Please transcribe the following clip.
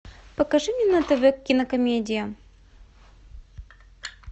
покажи мне на тв кинокомедия